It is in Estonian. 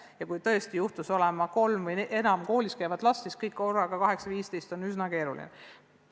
Ja kui tõesti juhtus peres olema kolm või enam koolis käivat last, siis kõigil korraga 8.15 arvuti taga olla oli üsna keeruline.